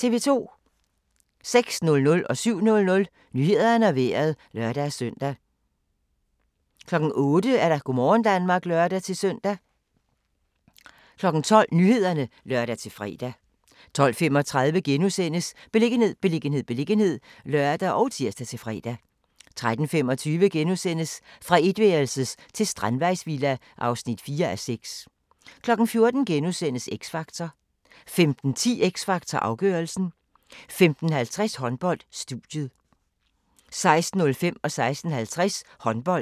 06:00: Nyhederne og Vejret (lør-søn) 07:00: Nyhederne og Vejret (lør-søn) 08:00: Go' morgen Danmark (lør-søn) 12:00: Nyhederne (lør-fre) 12:35: Beliggenhed, beliggenhed, beliggenhed *(lør og tir-fre) 13:25: Fra etværelses til strandvejsvilla (4:6)* 14:00: X Factor * 15:10: X Factor - afgørelsen 15:50: Håndbold: Studiet 16:05: Håndbold: KIF Kolding-Skjern (m)